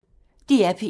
DR P1